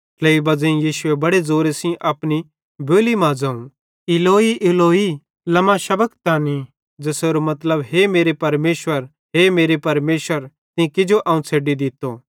ट्लेइ बज़ेई यीशुए बड़ी ज़ोरे सेइं अपनी बोली मां ज़ोवं कि इलोई इलोई लमा शबक्तनी ज़ेसेरू मतलब हे मेरे परमेशर हे मेरे परमेशर तीं किजो अवं छ़ेड्डी दित्तो